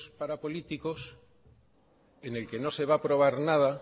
para políticos en el que no se va a aprobar nada